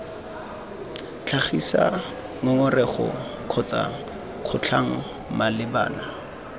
tlhagisa ngongorego kgotsa kgotlhang malebana